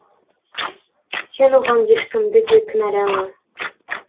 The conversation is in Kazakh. сен оған ешкімді де кінәлама